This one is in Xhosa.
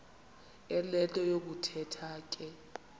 enento yokuthetha ke